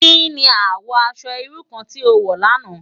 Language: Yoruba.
Ki ni àwò aṣò irú kàn ti ó wò làná?